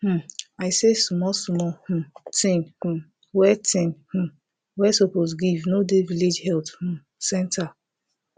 hmm i saysmall small um thing um wey thing um wey suppose give no dey village health um center